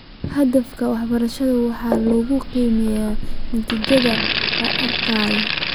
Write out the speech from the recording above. Hadafka waxbarashada waxaa lagu qiimeeyaa natiijooyin la arkay.